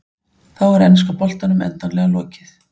Þá er enska boltanum endanlega lokið.